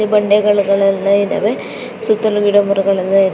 ಬಂಡೆಗಳೆಲ್ಲಾ ಇದವೆ ಸುತ್ತಲು ಗಿಡಮರಗಳೆಲ್ಲಾಇದೆ .